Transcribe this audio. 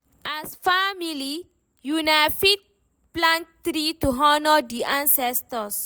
As family, una fit plant tree to honor di ancestor